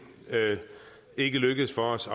ikke lykkedes for os